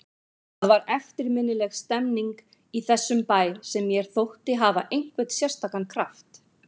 Það var eftirminnileg stemmning í þessum bæ sem mér þótti hafa einhvern sérstakan kraft.